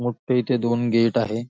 मोठे इथे दोन गेट आहेत.